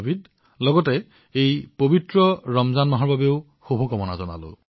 ৰমজানৰ পবিত্ৰ মাহ উপলক্ষেও আপোনালৈ অলেখ শুভকামনা থাকিল